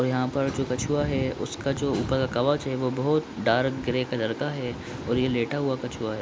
यहाँ पर जो कछुआ है उसका जो ऊपर का कवच है वो बहोत डार्क ग्रे कलर का है और ये लेटा हुआ कछुआ है।